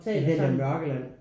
Den hedder Mørkeland